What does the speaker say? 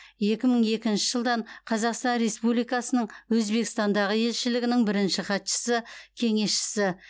екі мың екінші жылдан қазақстан республикасының өзбекстандағы елшілігінің бірінші хатшысы кеңесшісі